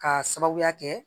K'a sababuya kɛ